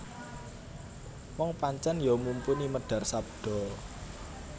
Wong pancen ya mumpuni medhar sabda